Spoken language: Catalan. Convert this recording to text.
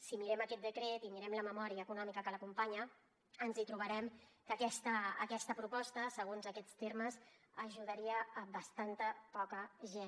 si mirem aquest decret i mirem la memòria econòmica que l’acompanya ens trobarem que aquesta proposta segons aquests termes ajudaria bastanta poca gent